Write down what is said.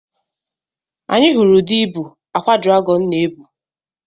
Anyị hụrụ ụdị ibu akwa dragọn na-ebu.